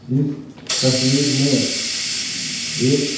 इस तस्वीर में एक --]